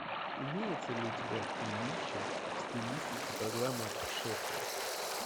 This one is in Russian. имеется ли у тебя фильмище в стилистике программы о путешествиях